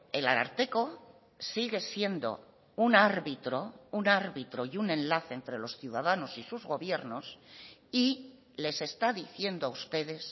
el ararteko sigue siendo un árbitro un árbitro y un enlace entre los ciudadanos y sus gobiernos y les está diciendo a ustedes